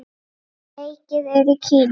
Leikið er í Kína.